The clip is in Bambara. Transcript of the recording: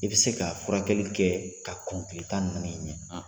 I bɛ se ka furakɛ kɛ ka kɔn kile tan ni nana in cɛ.